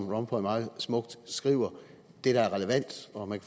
rompuy meget smukt skriver det der er relevant og man